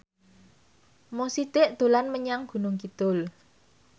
Mo Sidik dolan menyang Gunung Kidul